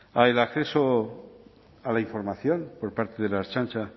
al acceso a la información por parte de la ertzaintza